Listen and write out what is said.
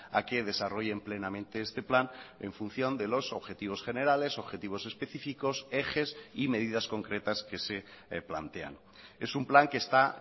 a que desarrollen plenamente este plan en función de los objetivos generales objetivos específicos ejes y medidas concretas que se plantean es un plan que está